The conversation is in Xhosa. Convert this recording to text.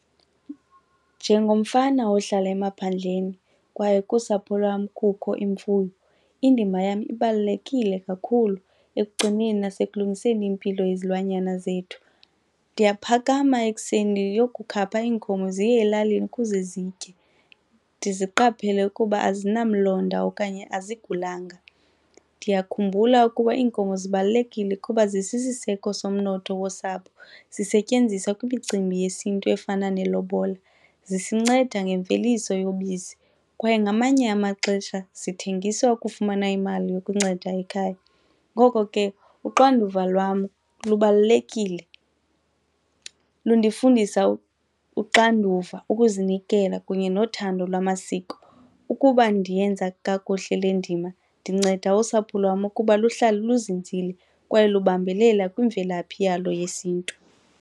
Njengomfana ohlala emaphandleni kwaye kusapho lwam kukho imfuyo, indima yam ibalulekile kakhulu ekugcineni nasekulungiseni impilo yezilwanyana zethu. Ndiyaphakama ekuseni ndiyokukhapha iinkomo ziye elalini ukuze zitye ndiziqaphele ukuba azinamlonda okanye azigulanga. Ndiyakhumbula ukuba iinkomo zibalulekile kuba ezisisiseko somnotho wosapho, zisetyenziswa kwimicimbi yesiNtu efana nelobola, zisinceda ngemveliso yobisi kwaye ngamanye amaxesha zithengiswa ukufumana imali yokunceda ekhaya. Ngoko ke uxanduva lwam lubalulekile, lundifundisa uxanduva, ukuzinikela kunye nothando lwamasiko. Ukuba ndiyenza kakuhle le ndima ndinceda usapho lwam ukuba luhlale luzinzile kwaye lubambelela kwimvelaphi yalo yesiNtu.